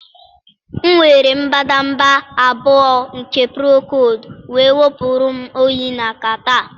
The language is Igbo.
m were mbadamba 2 nke procold wee wepụrụ m oyi na catarrh